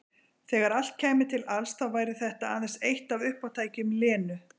Þegar allt kæmi til alls þá væri þetta aðeins eitt af uppátækjum Lenu.